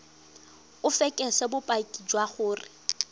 o fekese bopaki jwa gore